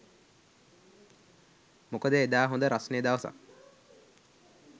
මොකද එදා හොඳ රස්නේ දවසක්